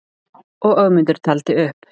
Og Ögmundur taldi upp: